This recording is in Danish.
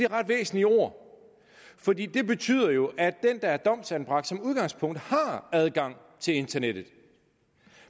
ret væsentlige ord for det betyder jo at den der er domsanbragt som udgangspunkt har adgang til internettet